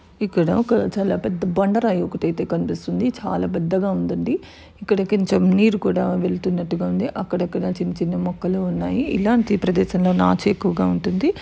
ఇక్కడ ఒక చాలా పెద్ద బండ రాయి ఒకటి ఐతే కనిపిస్తుంది చాలా పెద్దగా ఉంది అండి ఇక్కడ కొంచం నీరు కూడా వెళ్తున్నట్టుగా ఉంది అక్కడ అక్కడ చిన్న చిన్న మొక్కలు ఉన్నాయి ఇలాంటి ప్రదేశంలో నాచు ఎక్కువగా ఉంటుంది.